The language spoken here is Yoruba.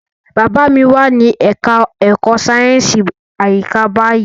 Bàbá mi wà ní ẹka ẹ̀kọ́ sáyẹnsì àyíká báyìí.